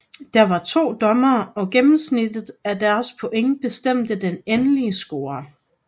Der var to dommere og gennemsnittet af deres point bestemte den endelige score